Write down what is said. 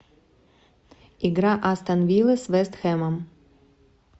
игра астон виллы с вест хэмом